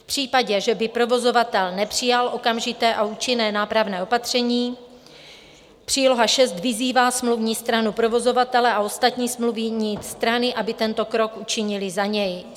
V případě, že by provozovatel nepřijal okamžité a účinné nápravné opatření, příloha VI vyzývá smluvní stranu provozovatele a ostatní smluvní strany, aby tento krok učinily za něj.